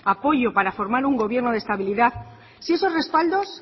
apoyo para formar un gobierno de estabilidad si esos respaldos